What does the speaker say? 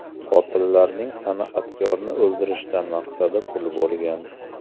Qotillarning san’atkorni o‘ldirishdan maqsadi pul bo‘lgan.